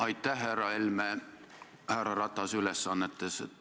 Aitäh, härra Helme härra Ratase ülesannetes!